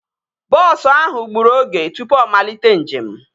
Bọọsu ahụ gburu oge tụpụ ọ malite njem